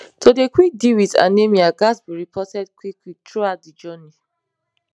to dey deal wit anemia ghats be reported quick quick throughout de journey